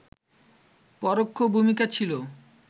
পরোক্ষ ভূমিকা ছিল